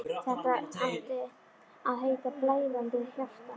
Það átti að heita: Blæðandi hjarta.